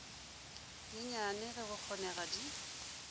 nyenyane ge go kgonega di